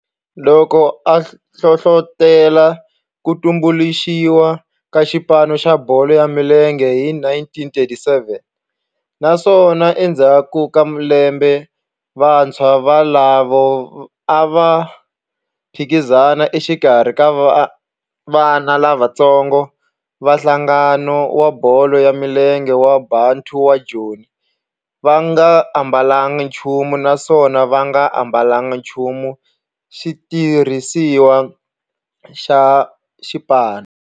loko a hlohlotela ku tumbuluxiwa ka xipano xa bolo ya milenge hi 1937 naswona endzhaku ka lembe vantshwa volavo a va phikizana exikarhi ka vana lavatsongo va nhlangano wa bolo ya milenge wa Bantu wa Joni va nga ambalanga nchumu naswona va nga ambalanga nchumu xitirhisiwa xa xipano.